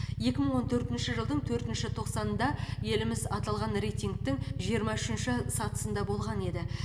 екі мың он төртінші жылдың төртінші тоқсанында еліміз аталған рейтингтің жиырма үшінші сатысында болған еді